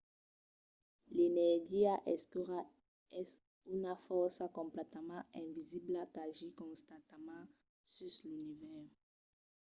l'energia escura es una fòrça completament invisibla qu'agís constantament sus l'univèrs